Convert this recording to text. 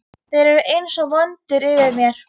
Þeir eru einsog vöndur yfir mér.